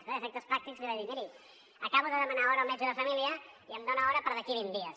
i a efectes pràctics li vaig dir miri acabo de demanar hora al metge de família i em dona hora per d’aquí vint dies